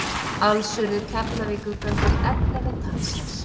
Alls urðu Keflavíkurgöngur ellefu talsins.